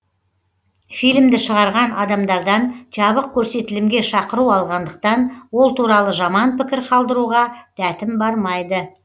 фильмді шығарған адамдардан жабық көрсетілімге шақыру алғандықтан ол туралы жаман пікір қалдыруға дәтім бармайды